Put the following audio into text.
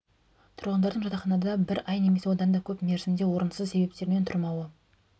тұрғындардың жатаханада бір ай немесе одан да көп мерзімде орынсыз себептермен тұрмауы